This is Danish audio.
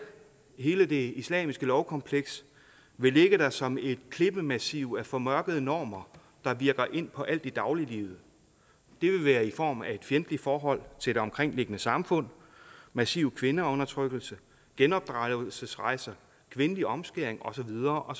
hele det islamiske lovkompleks vil ligge der som et klippemassiv af formørkede normer der virker ind på alt i dagliglivet det vil være i form af et fjendtligt forhold til det omkringliggende samfund massiv kvindeundertrykkelse genopdragelsesrejser kvindelig omskæring og så videre og